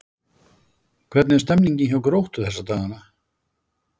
Hvernig er stemningin hjá Gróttu þessa dagana?